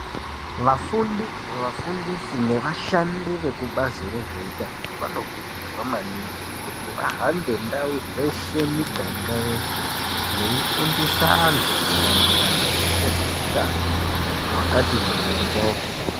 Vafundi vafundisi nevashandi vezvekubazi rezveutano vanokurudzirwa maningi kuti vahambe ndau dzeshe miganga yeshe veifundisa anyu maererano nezveutano hwakati morwo.